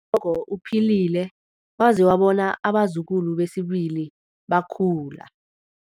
Ugogo uphilile waze wabona abazukulu besibili bekhula.